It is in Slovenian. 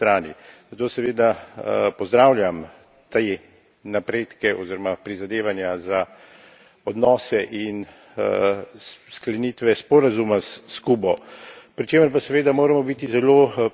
Zato seveda pozdravljam te napredke oziroma prizadevanja za odnose in sklenitve sporazuma s Kubo, pri čemer pa seveda moramo biti zelo previdni.